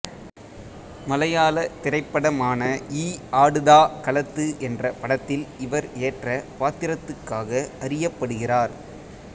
மலையாள திரைப்படமான ஈ ஆடுதா கலத்து என்ற படத்தில் இவர் ஏற்ற பாத்திரத்துக்காக அறியப்படுகிறார்